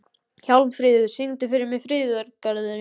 Hjálmfríður, syngdu fyrir mig „Friðargarðurinn“.